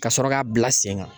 Kasɔrɔ k'a bila sen kan